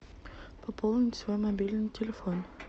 пополнить свой мобильный телефон